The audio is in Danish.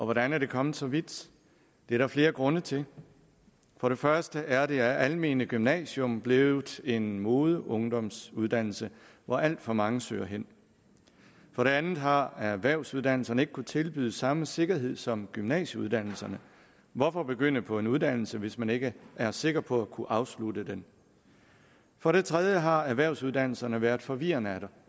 hvordan er det kommet så vidt det er der flere grunde til for det første er det almene gymnasium blevet en modeungdomsuddannelse hvor alt for mange søger hen for det andet har erhvervsuddannelserne ikke kunnet tilbyde samme sikkerhed som gymnasieuddannelserne hvorfor begynde på en uddannelse hvis man ikke er sikker på at kunne afslutte den for det tredje har erhvervsuddannelserne været forvirrende